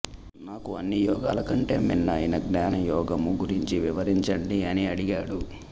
నాకు అన్ని యోగాలకంటే మిన్న అయిన జ్ఞానయోగము గురించి వివరించండి అని అడిగాడు